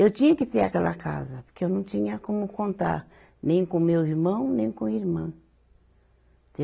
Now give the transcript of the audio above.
Eu tinha que ter aquela casa, porque eu não tinha como contar nem com o meu irmão, nem com irmã.